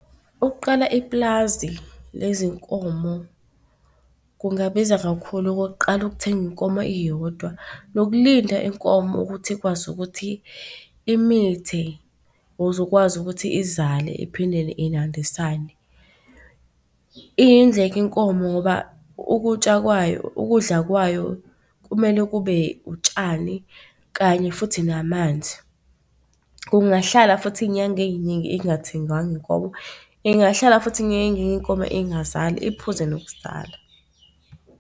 Ukuqala iplazi lezinkomo kungabiza kakhulu. Okokuqala ukuthenga inkomo iyodwa nokulinda inkomo ukuthi ikwazi ukuthi imithe ukuze ukwazi ukuthi izale iphindele iyandisane. Iyindleko inkomo ngoba ukutya kwayo, ukudla kwayo kumele kube utshani kanye futhi namanzi. Kungahlala futhi inyanga ey'ningi ingathengwanga inkomo. Ingahlala futhi inkomo ingazali iphuze nokuzala.